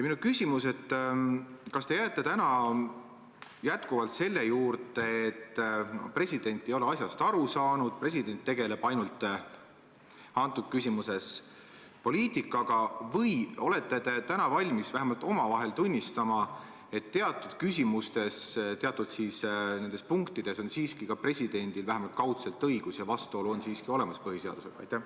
Minu küsimus on järgmine: kas te täna jääte endiselt selle juurde, et president ei ole asjast aru saanud ja tegeleb selles küsimuses ainult poliitikaga või olete valmis vähemalt omavahel tunnistama, et teatud küsimustes või teatud punktides on presidendil vähemalt kaudselt õigus ja vastuolu põhiseadusega on siiski olemas?